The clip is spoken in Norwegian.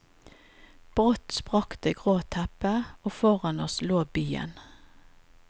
Brått sprakk det grå teppet, og foran oss lå byen.